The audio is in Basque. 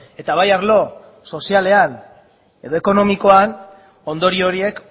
eta bai arlo sozialean edo ekonomikoan ondorio horiek